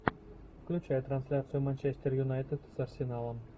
включай трансляцию манчестер юнайтед с арсеналом